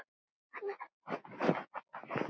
Fat Man